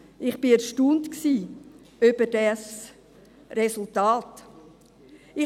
Ich war über dieses Resultat erstaunt.